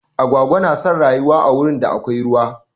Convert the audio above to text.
Agwagwa na son rayuwa a wurin da akwai ruwa.